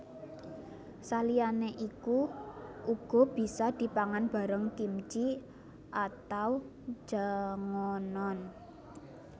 Saliyane iku uga bisa dipangan bareng kimchi atau jangonon